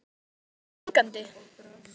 En er þetta mengandi?